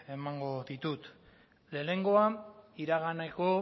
emango ditut lehenengoa iraganeko